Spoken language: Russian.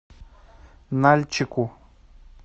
нальчику